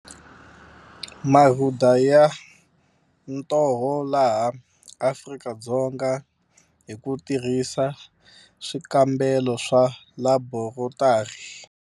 Marhuda ya ntoho laha Afrika-Dzonga hi ku tirhisa swikambelo swa laborotari.